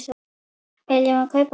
Viljum við kaupa hann?